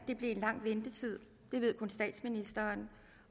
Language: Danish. det blev en lang ventetid det ved kun statsministeren